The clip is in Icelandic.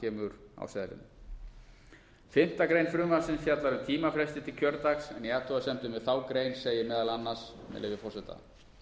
kemur á seðlinum fimmta grein frumvarpsins fjallar um tímafresti til kjördags en í athugasemdum við þá grein segir meðal annars með leyfi forseta